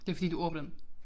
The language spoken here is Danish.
Det var fordi du ordblind